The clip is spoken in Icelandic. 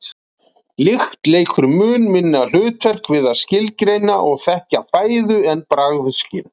Lykt leikur mun minna hlutverk við að skilgreina og þekkja fæðu en bragðskyn.